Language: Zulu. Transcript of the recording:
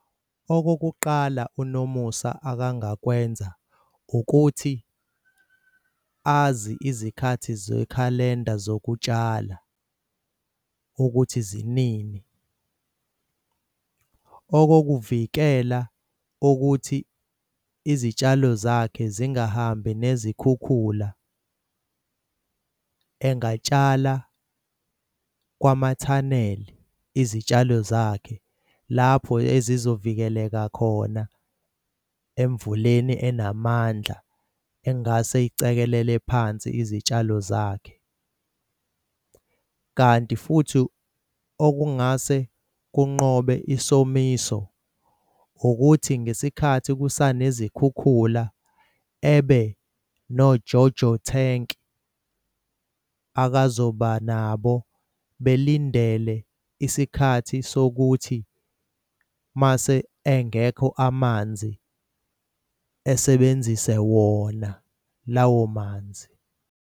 Okokuqala uNomusa akangakwenza ukuthi azi izikhathi ze-calender zokutshala ukuthi zinini. Okokuvikela ukuthi izitshalo zakhe zingahambi nezikhukhula engatshala kwama-tunnel izitshalo zakhe lapho ezizovikeleka khona emvuleni enamandla engase icekelele phansi izitshalo zakhe. Kanti futhi okungase kunqobe isomiso ukuthi ngesikhathi kusanezikhukhula ebe noJoJo tank akazoba nabo belindele isikhathi sokuthi mase engekho amanzi esebenzise wona lawo manzi.